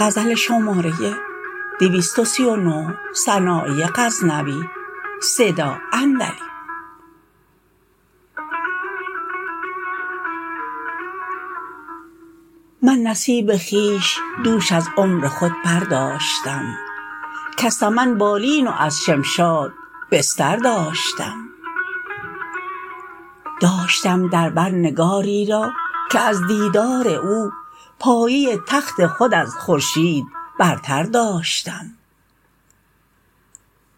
من نصیب خویش دوش از عمر خود برداشتم کز سمن بالین و از شمشاد بستر داشتم داشتم در بر نگاری را که از دیدار او پایه تخت خود از خورشید برتر داشتم